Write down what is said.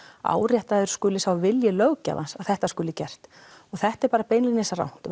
áréttaður skuli sá vilji löggjafans að þetta skuli gert og þetta er beinlínis rangt